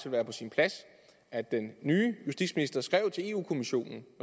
være på sin plads at den nye justitsminister skrev til europa kommissionen